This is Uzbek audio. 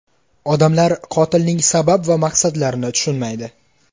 Odamlar qotilning sabab va maqsadlarini tushunmaydi.